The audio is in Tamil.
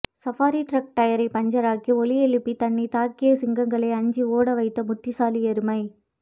சஃபாரி டிரக் டயரை பஞ்சராகி ஒலியை எழுப்பி தன்னை தாக்கிய சிங்கங்களை அஞ்சி ஓடவைத்த புத்திசாலி எருமை